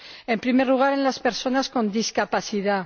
En primer lugar, en las personas con discapacidad.